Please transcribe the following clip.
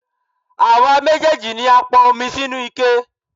Àwa méjèèjì ni a pọn omi sínú ike.